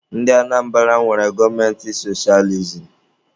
Ndị Anambara nwere gọọmenti sochializim